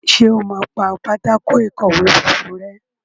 Ṣe o má pá Pátákó ìkọ̀wé funfun rè?